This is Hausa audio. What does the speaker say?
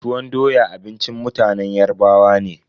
Tuwon doya abincin mutanen Yarbawa ne.